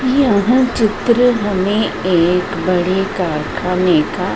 यहां चित्र बने एक बड़े कारखाने का--